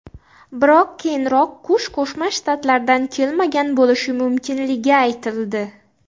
Biroq keyinroq qush Qo‘shma Shtatlardan kelmagan bo‘lishi mumkinligi aytildi.